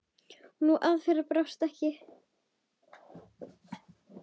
Og sú aðferð brást ekki.